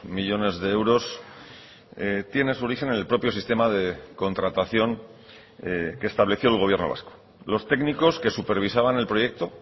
millónes de euros tiene su origen en el propio sistema de contratación que estableció el gobierno vasco los técnicos que supervisaban el proyecto